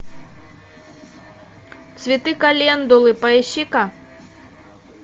цветы календулы поищи ка